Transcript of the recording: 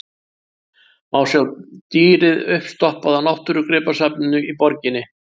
Má sjá dýrið uppstoppað á náttúrugripasafninu í borginni.